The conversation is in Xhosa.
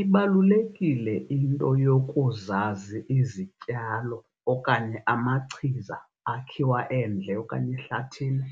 Ibalulekile into yokuzazi izityalo okanye amachiza akhiwa endle okanye ehlathini